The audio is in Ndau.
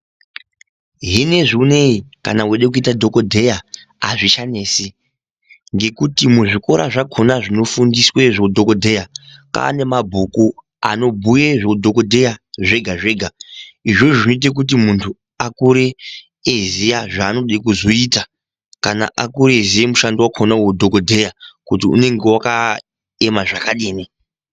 Zvinezviuneu kana weida kuita dhokoteya azvisanesi ngekuti muzvikora zvakona zvinofundisa zveudhokoteya mwaane mabhuku anbhuya zveudhokoteya zvega-zvega, izvozvo zvinoita kuti mundu akure eiziya zvaanode kuzoita kana kuti akure eiziya mushando wakona weudhokoteya kuti unenge wakaema zvakadini